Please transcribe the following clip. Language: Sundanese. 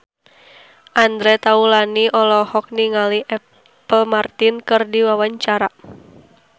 Andre Taulany olohok ningali Apple Martin keur diwawancara